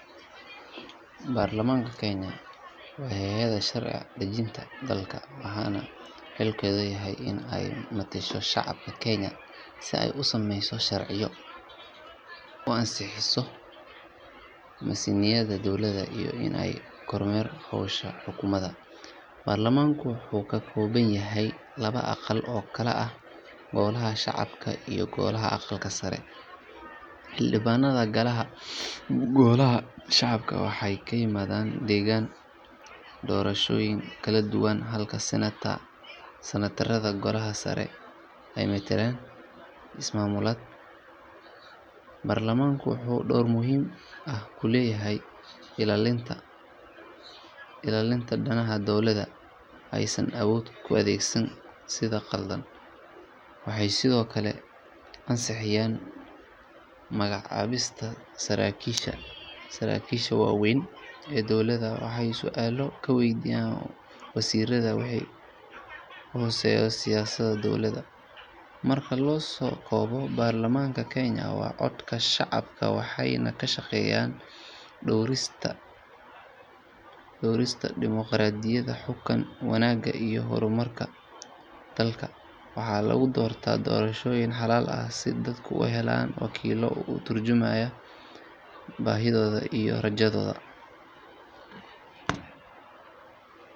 Baarlamaanka Kenya waa hay’adda sharci dejinta dalka waxaana xilkeedu yahay in ay metesho shacabka Kenya si ay u sameyso sharciyo, u ansixiso miisaaniyadda dowladda iyo in ay kormeerto howsha xukuumadda. Baarlamaanka wuxuu ka kooban yahay laba aqal oo kala ah Golaha Shacabka iyo Golaha Aqalka Sare. Xildhibaanada Golaha Shacabka waxay ka yimaadaan deegaan doorashooyin kala duwan halka Senator-rada Golaha Sare ay metelaan ismaamullada. Baarlamaanku wuxuu door muhiim ah ku leeyahay ilaalinta danaha muwaadiniinta isagoo xaqiijinaya in dowladda aysan awood u adeegsan si qaldan. Waxay sidoo kale ansixiyaan magacaabista saraakiisha waaweyn ee dowladda waxayna su’aalo ka weydiiyaan wasiirrada wixii khuseeya siyaasadaha dowladda. Marka la soo koobo, Baarlamaanka Kenya waa codka shacabka waxayna ka shaqeeyaan dhowrista dimoqraadiyadda, xukun wanaagga iyo horumarinta dalka. Waxaa lagu doortaa doorashooyin xalaal ah si dadku u helaan wakiillo ka turjumaya baahidooda iyo rajadooda.